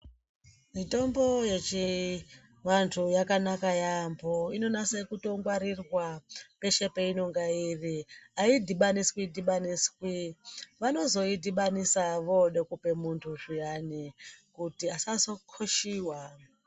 Mitombo yechivantu yakanaka yaambo inonase kutongwarirwa peshe peinonga iri. Aidhibaniswi dhibaniswi, vanozoidhibanisa woode kupe muntu zviyani kuti asazokoshiwa.